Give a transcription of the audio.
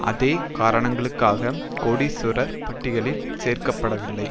அதே காரணங்களுக்காக கோடீஸ்வரர் பட்டியலில் சேர்க்க படவில்லை